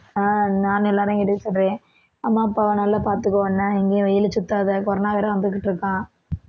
ஆஹ் நானும் எல்லாரையும் கேட்டதா சொல்றேன் அம்மா அப்பாவை நல்லா பாத்துக்கோ என்ன எங்கயும் வெயல்ல சுத்தாத corona வேற வந்துகிட்டு இருக்காம்